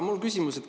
Mul on küsimus.